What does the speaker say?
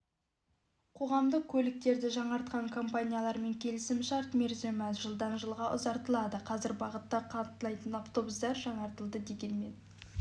қоғамдық көліктерді жаңартқан компаниялармен келісімшарт мерзімі жылдан жылға ұзартылады қазір бағытта қатынайтын автобустар жаңартылды дегенмен